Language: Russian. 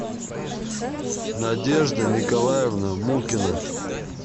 надежда николаевна мукина